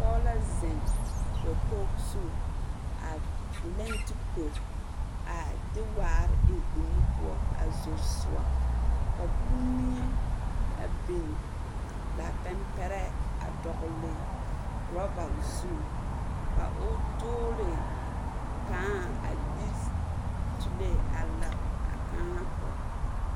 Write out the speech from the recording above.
Pɔɔ la zeŋ dokog zu a leŋ duko. A de waar eŋ o nu poɔ a zor soɔ. Ka kummie a bin, lapɛmpɛrɛɛ a dɔgele rɔba zu. Ka o doole kãã a de s... sulee a ler a kãã poɔ.